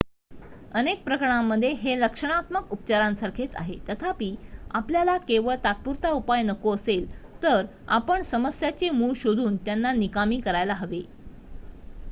अनेक प्रकरणांमध्ये हे लक्षणात्मक उपचारांसारखेच आहे तथापि आपल्याला केवळ तात्पुरता उपाय नको असेल तर आपण समस्यांचे मूळ शोधून त्यांना निकामी करायला हवे